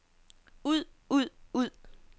ud ud ud